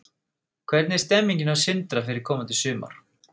Hvernig er stemmingin hjá Sindra fyrir komandi sumar?